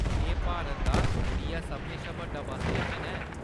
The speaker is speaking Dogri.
एह्‌‌ भारत दा त्रीआ सभनें शा बड्डा बस्स स्टेशन ऐ।